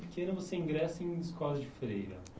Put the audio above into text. pequena, você ingressa em escola de freira.